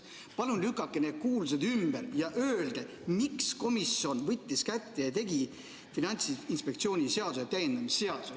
Palun lükake see kuuldus ümber ja öelge, miks komisjon võttis kätte ja koostas Finantsinspektsiooni seaduse täiendamise seaduse.